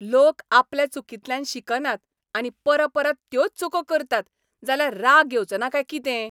लोक आपल्या चुकींतल्यान शिकनात आनी परपरत त्योच चुको करतात जाल्यार राग येवचोना काय कितें?